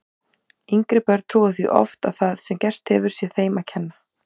Yngri börn trúa því oft að það sem gerst hefur sé þeim að kenna.